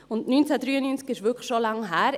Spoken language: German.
Und 1993 ist wirklich schon lange her: